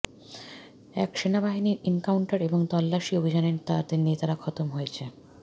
সেনাবাহিনীর এনকাউন্টার এবং তল্লাশি অভিযানে তাদের নেতারা খতম হয়েছে